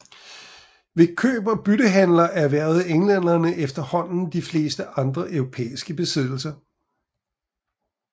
Ved køb og byttehandler erhvervede englænderne efterhånden de fleste andre europæiske besiddelser